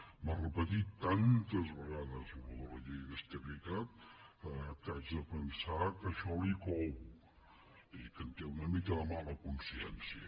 m’ha repetit tantes vegades el tema de la llei d’estabilitat que haig de pensar que això li cou i que en té una mica de mala consciència